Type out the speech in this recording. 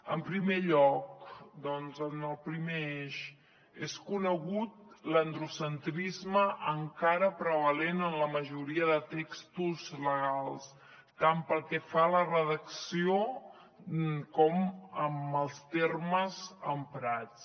en primer lloc en el primer eix és conegut l’androcentrisme encara prevalent en la majoria de textos legals tant pel que fa a la redacció com en els termes emprats